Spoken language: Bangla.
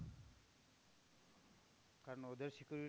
কারণ ওদের security